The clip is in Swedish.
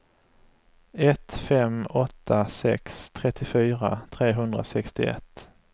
ett fem åtta sex trettiofyra trehundrasextioett